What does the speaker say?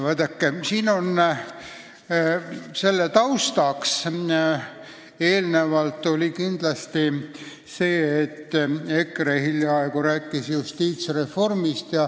Vaadake, eelnenu taust on kindlasti see, et EKRE hiljaaegu nõudis justiitsreformi.